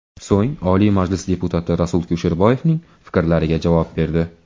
So‘ng Oliy Majlis deputati Rasul Kusherboyevning fikrlariga javob berdi.